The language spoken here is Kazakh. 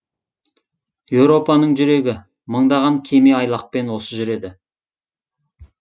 еуропаның жүрегі мыңдаған кеме айлақпен осы жүреді